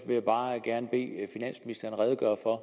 bare gerne bede finansministeren redegøre for